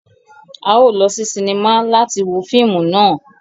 A o lọ si sinima láti wo fíìmù náà